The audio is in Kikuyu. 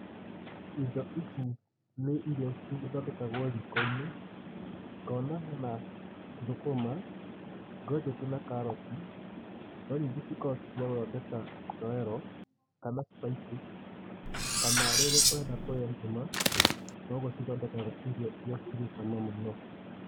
Indo ici nĩ iria cithondekagwo riko-inĩ. Ngona hena thũkũma, ngojeti na karoti. No nyingĩ cikoragwo ci ciagũthondeka gĩtoero kana spices kana rĩrĩ ũrenda kũrĩa ngima. Noguo cithondeka irio irĩa cirĩcama mũno.